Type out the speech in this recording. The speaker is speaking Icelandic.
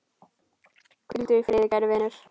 Hvíldu í friði kæri vinur.